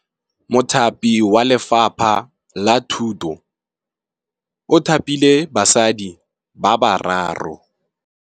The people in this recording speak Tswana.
Mothapi wa Lefapha la Thutô o thapile basadi ba ba raro.